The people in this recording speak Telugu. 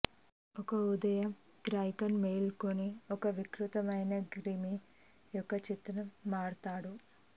ఒక ఉదయం గ్రెగర్ మేల్కొని ఒక వికృతమైన క్రిమి యొక్క చిత్రం మారతాడు